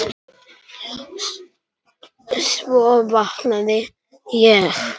Svo vaknaði ég.